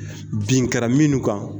Bin kɛra minnu kan